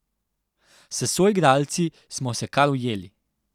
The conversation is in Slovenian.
S soigralci smo se kar ujeli.